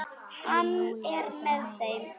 Hann er með þeim.